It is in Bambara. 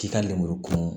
K'i ka lenmuru kurun